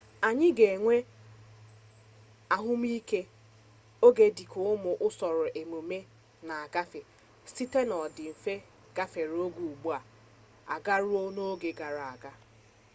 anyị na-enwe ahụmihe oge dị ka ụmụ usoro emume na-agafe site n'ọdịnihu gafere oge ugbu a garuo n'oge gara aga